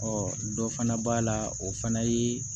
dɔ fana b'a la o fana ye